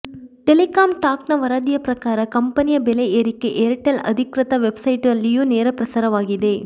telecom ಟಾಕ್ನ ವರದಿಯ ಪ್ರಕಾರ ಕಂಪನಿಯ ಬೆಲೆ ಏರಿಕೆ ಏರ್ಟೆಲ್ ಅಧಿಕೃತ ವೆಬ್ಸೈಟ್ನಲ್ಲಿಯೂ ನೇರ ಪ್ರಸಾರವಾಗಿದೆ